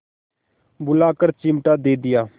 बुलाकर चिमटा दे दिया